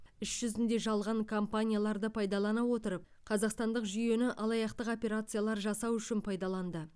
іс жүзінде жалған компанияларды пайдалана отырып қазақстандық жүйені алаяқтық операциялар жасау үшін пайдаланды